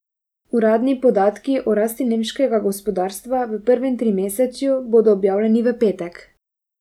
Uradni podatki o rasti nemškega gospodarstva v prvem trimesečju bodo objavljeni v petek.